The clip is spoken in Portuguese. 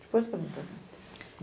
Depois que eu vim para cá.